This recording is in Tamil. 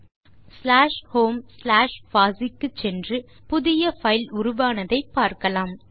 இப்போது நாம் ஸ்லாஷ் ஹோம் ஸ்லாஷ் பாசி க்கு சென்று புதிய பைல் உருவானதை பார்க்கலாம்